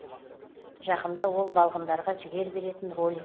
жақында ол балғындарға жігер беретін ролик